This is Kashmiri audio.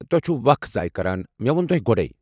توہہِ چھِوٕ وخ ضایہ کران، مےٚ ووٚن تُہۍ گۄڑے۔